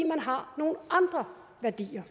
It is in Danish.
man har nogle andre værdier